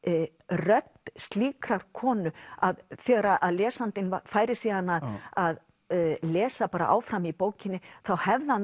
rödd slíkrar konu að þegar lesandinn færi síðan að lesa áfram í bókinni þá hefði hann